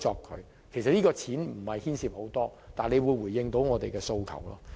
其實，推行此建議所費無幾，但卻能夠回應我們的訴求。